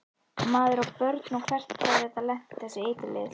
Maður á börn og hvert hefði þetta lent, þessi eiturlyf?